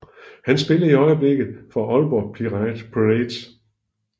Han spiller i øjeblikket for Aalborg Pirates